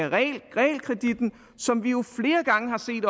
realkreditten som vi jo